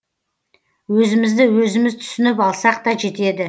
өзімізді өзіміз түсініп алсақ та жетеді